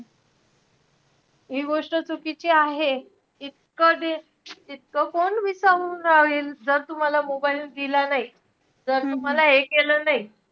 हि गोष्ट चुकीची आहे. इतकं दे~ इतकं कोण विचारून राहील. जर तुम्हाला mobile दिला नाही, जर तुम्हाला हे केलं नाही.